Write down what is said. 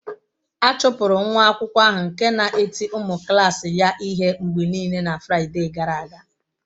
A chụpụrụ nwa akwụkwọ ahụ nke na-eti ụmụ klas ya ihe mgbe niile na Fraịde gara aga.